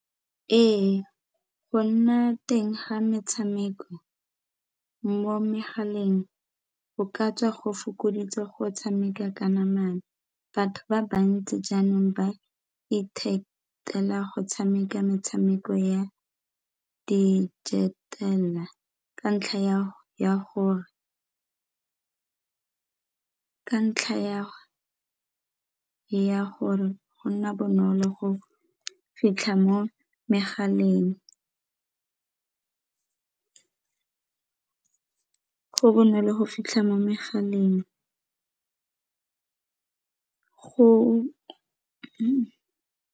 Ee, go nna teng ga metshameko mo megaleng o ka tswa go fokoditse go tshameka ka namana, batho ba bantsi jaanong ba ithatela go tshameka metshameko ya ka ntlha ya gore go nna bonolo go fitlha mo megaleng, go bonolo go fitlha mo megaleng go.